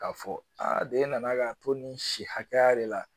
K'a fɔ aa de e nana k'a to nin si hakɛya de la